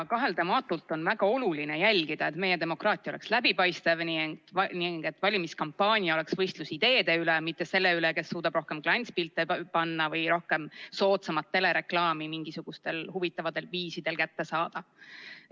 Kaheldamatult on väga oluline jälgida, et meie demokraatia oleks läbipaistev ning et valimiskampaania oleks võistlus ideede üle, mitte selle üle, kes suudab rohkem klantspilte panna või rohkem soodsamalt telereklaami mingisugustel huvitavatel viisidel kätte saada.